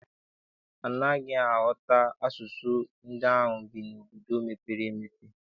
Anaghị m aghọta asụsụ ndị ahụ bi n'obodo mepere emepe.